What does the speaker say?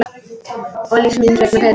Og lífs míns vegna Pétur.